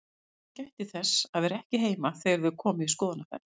Jóhann gætti þess að vera ekki heima þegar þau komu í skoðunarferð.